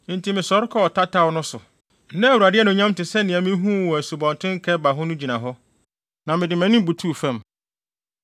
Enti mesɔre kɔɔ tataw no so. Na Awurade anuonyam te sɛ nea mihuu wɔ Asubɔnten Kebar ho no gyina hɔ, na mede mʼanim butuw fam.